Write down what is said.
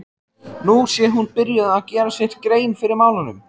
Nú sé hún byrjuð að gera sér grein fyrir málunum.